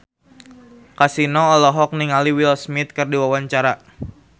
Kasino olohok ningali Will Smith keur diwawancara